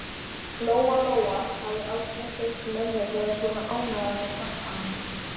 Lóa-Lóa hafði aldrei heyrt mömmu vera svona ánægða með krakkana.